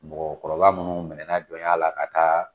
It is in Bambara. Mɔgɔkɔrɔba minnu mɛnana jɔnya la ka taa.